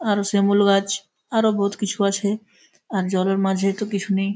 আরো শিমুল গাছ আরো বহুত কিছু আছে আর জলের মাঝে তো কিছু নেই।